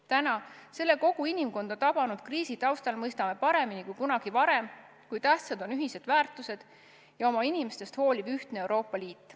Täna, selle kogu inimkonda tabanud kriisi taustal mõistame paremini kui kunagi varem, kui tähtsad on ühised väärtused ja oma inimestest hooliv ühtne Euroopa Liit.